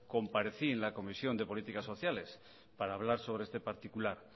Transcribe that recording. comparecí en la comisión de políticas sociales para hablar sobre este particular